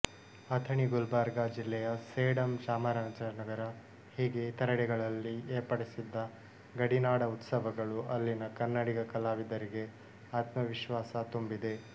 ಅಥಣಿ ಗುಲ್ಬರ್ಗಾ ಜಿಲ್ಲೆಯ ಸೇಡಂ ಚಾಮರಾಜನಗರ ಹೀಗೆ ಇತರೆಡೆಗಳಲ್ಲಿ ಏರ್ಪಡಿಸಿದ್ದ ಗಡಿನಾಡ ಉತ್ಸವಗಳು ಅಲ್ಲಿನ ಕನ್ನಡಿಗ ಕಲಾವಿದರಿಗೆ ಆತ್ಮಾವಿಶ್ವಾಸ ತುಂಬಿದೆ